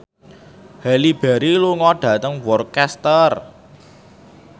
Halle Berry lunga dhateng Worcester